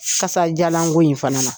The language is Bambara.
Kasadiyalanko in fana na